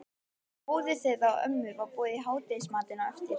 Móður þeirra og ömmu var boðið í hádegismatinn á eftir.